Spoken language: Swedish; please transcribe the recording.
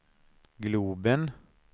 globen